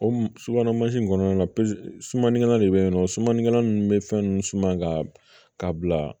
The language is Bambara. O subahana mansin kɔnɔna la sumanikɛlan de bɛ yen nɔ sumanikɛla ninnu bɛ fɛn ninnu suma ka bila